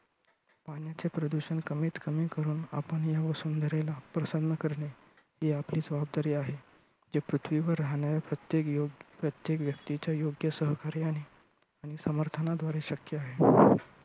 पाण्याचे प्रदूषण कमीत कमी करुन आपण ह्या वसुंधरेला प्रसन्न करणे ही आपली जबाबदारी आहे. ह्या पृथ्वीवर राहणाऱ्या प्रत्येक योग्य प्रत्येक व्यक्तीच्या योग्य सहकार्याने आणि समर्थनाद्वारे शक्य होईल.